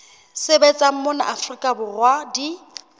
sebetsang mona afrika borwa di